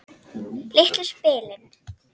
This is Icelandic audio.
Litlu spilin.